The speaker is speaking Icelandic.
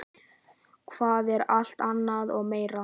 Það er alt annað og meira.